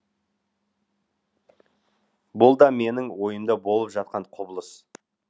бұл да менің ойымда болып жатқан құбылыс